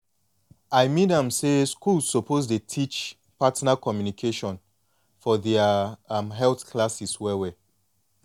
i mean am say schools suppose dey teach partner communication for their um health classes well well